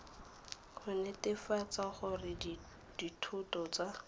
go netefatsa gore dithoto tsa